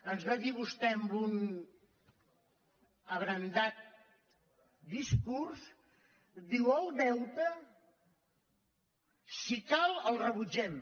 ens va dir vostè en un abrandat discurs diu el deute si cal el rebutgem